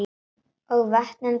Og vötnin bætti ég við.